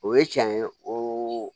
O ye cɛn ye o